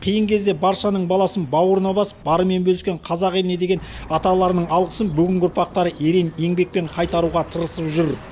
қиын кезде баршаның баласын бауырына басып барымен бөліскен қазақ еліне деген аталарының алғысын бүгінгі ұрпақтары ерен еңбекпен қайтаруға тырысып жүр